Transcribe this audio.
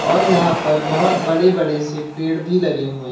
और यहां पर बहोत बड़े बड़े से पेड़ भी लगे हुए हैं।